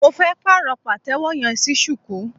Mo fẹ́ pàrọ̀ pàtẹ́wọ́ yẹn sí shuku.